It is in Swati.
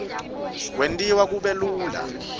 kwentiwa kube lula